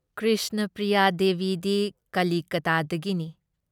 ꯀ꯭ꯔꯤꯁꯅ ꯄ꯭ꯔꯤꯌꯥ ꯗꯦꯕꯤꯗꯤ ꯀꯂꯤꯀꯇꯥꯗꯒꯤꯅꯤ ꯫